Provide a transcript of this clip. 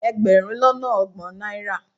Ẹgbẹ̀rún lọ́nà ọgbọ̀n náírà